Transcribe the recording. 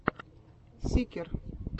сикер